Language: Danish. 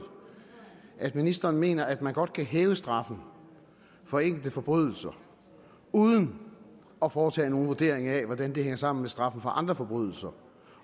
at ministeren mener at man godt kan hæve straffen for enkelte forbrydelser uden at foretage nogen vurdering af hvordan det hænger sammen med straffen for andre forbrydelser